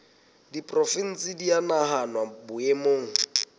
diporofensi di a nahanwa boemong